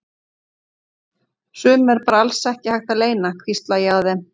Sumu er bara alls ekki hægt að leyna, hvísla ég að þeim.